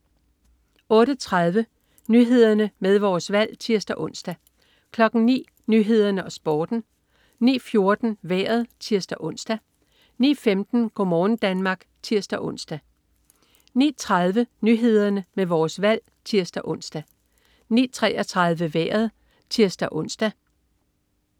08.30 Nyhederne med Vores Valg (tirs-ons) 09.00 Nyhederne med Vores Valg og Sporten 09.14 Vejret (tirs-ons) 09.15 Go' morgen Danmark (tirs-ons) 09.30 Nyhederne med Vores Valg (tirs-ons) 09.33 Vejret (tirs-ons)